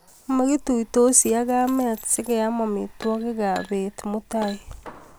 Makituisoti ak kamet sikeam amitwogikap bet mutai.